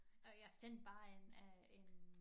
Og jeg sendte bare en øh en